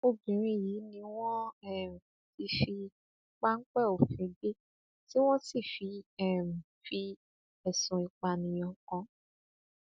obìnrin yìí ni wọn um ti fi páńpẹ òfin gbé tí wọn sì um fi ẹsùn ìpànìyàn kàn án